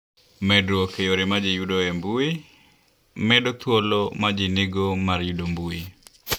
Medruok e Yore ma Ji Yudoe Intanet: Medo thuolo ma ji nigo mar yudo intanet.